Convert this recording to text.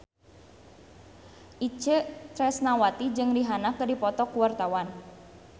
Itje Tresnawati jeung Rihanna keur dipoto ku wartawan